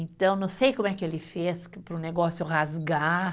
Então, não sei como é que ele fez para o negócio rasgar.